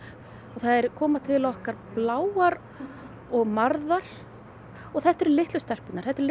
þær koma til okkar bláar og marðar og þetta eru litlu stelpurnar þetta eru